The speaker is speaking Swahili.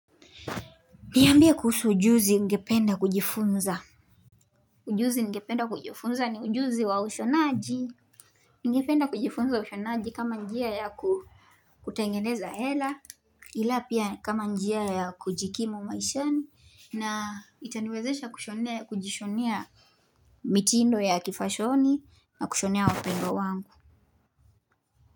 Niambie kuhusu ujuzi ungependa kujifunza Ujuzi ningependa kujifunza ni ujuzi wa ushonaji ningependa kujifunza ushonaji kama njia ya kutengeneza hela ila pia kama njia ya kujikimu maishani na itaniwezesha kujishonea mitindo ya kifashoni na kushonea wapendwa wangu.